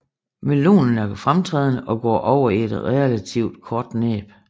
Melonen er fremtrædende og går over i et relativt kort næb